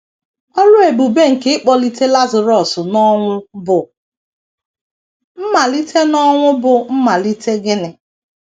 Ọrụ ebube nke ịkpọlite Lazarọs n’ọnwụ bụ mmalite n’ọnwụ bụ mmalite gịnị?